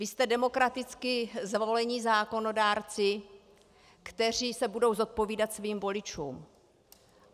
Vy jste demokraticky zvolení zákonodárci, kteří se budou zodpovídat svým voličům.